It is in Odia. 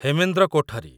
ହେମେନ୍ଦ୍ର କୋଠରୀ